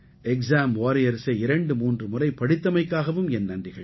exam வாரியர்ஸை 23 முறை படித்தமைக்காகவும் என் நன்றிகள்